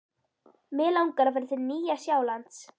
Mig langar að fara til Nýja-Sjálands.